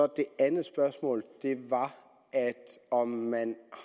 det andet spørgsmål var om man